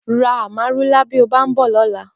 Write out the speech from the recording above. Rà Àmárúlá bi ó bà n bò lòlã